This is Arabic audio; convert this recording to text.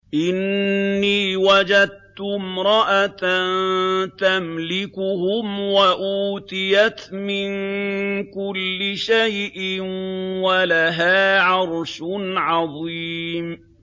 إِنِّي وَجَدتُّ امْرَأَةً تَمْلِكُهُمْ وَأُوتِيَتْ مِن كُلِّ شَيْءٍ وَلَهَا عَرْشٌ عَظِيمٌ